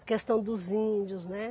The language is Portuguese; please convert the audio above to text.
A questão dos índios, né?